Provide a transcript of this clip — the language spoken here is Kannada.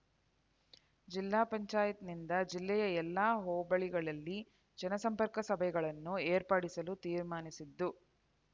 ಜಿಲ್ಲಾ ಪಂಚಾಯತ್ನಿಂದ ಜಿಲ್ಲೆಯ ಎಲ್ಲ ಹೋಬಳಿಗಳಲ್ಲಿ ಜನಸಂಪರ್ಕ ಸಭೆಗಳನ್ನು ಏರ್ಪಡಿಸಲು ತೀರ್ಮಾನಿಸಿದ್ದು